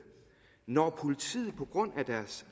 når politiet på grund af deres